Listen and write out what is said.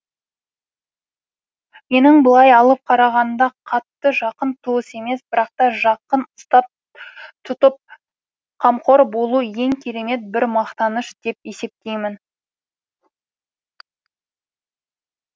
менің былай алып қарағанда қатты жақын туыс емес бірақ та жақын ұстап тұтып қамқор болу ең керемет бір мақтаныш деп есептеймін